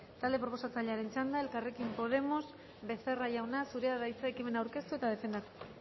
talde proposatzailearen txanda elkarrekin podemos becerra jauna zurea da hitza ekimena aurkeztu eta defendatzeko